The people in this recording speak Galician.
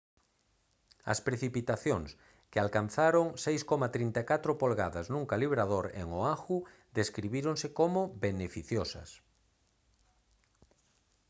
as precipitacións que alcanzaron 6,34 polgadas nun calibrador en oahu describíronse como «beneficiosas»